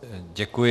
Děkuji.